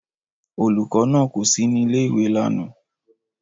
Olùkọ́ náà kò sí ní ilé-ìwé lánàá.